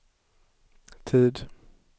tid